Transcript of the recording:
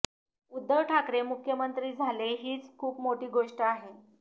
उद्धव ठाकरे मुख्यमंत्री झाले हीच खूप मोठी गोष्ट आहे